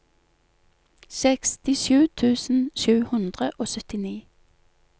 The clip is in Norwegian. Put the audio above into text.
sekstisju tusen sju hundre og syttini